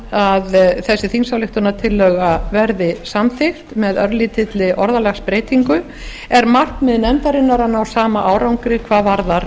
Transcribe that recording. að þessi þingsályktunartillaga verði samþykkt með örlítilli orðalagsbreytingu er markmið nefndarinnar að ná sama árangri hvað varðar